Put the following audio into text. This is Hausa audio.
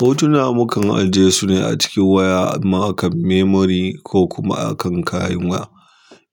Hotuna mu kan ajiye su ne a cikin waya, amma a kan memory ko kuma a kan kayan waya.